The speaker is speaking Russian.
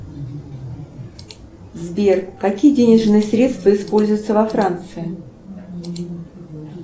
сбер какие денежные средства используются во франции